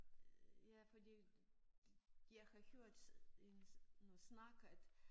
Ja fordi jeg har hørt en noget snak at